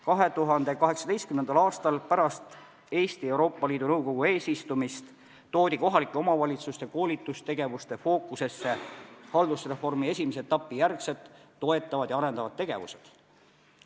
2018. aastal pärast seda, kui Eesti oli olnud Euroopa Liidu Nõukogu eesistuja, toodi kohalike omavalitsuste koolitustegevuste fookusesse haldusreformi esimese etapi järgsed toetavad ja arendavad tegevused.